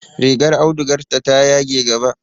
Rigar audugarta ta yage gaba.